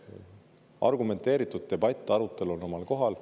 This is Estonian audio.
Argumenteeritud debatt, arutelu on omal kohal.